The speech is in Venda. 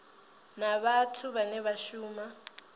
na vhathu vhane vha shuma